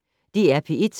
DR P1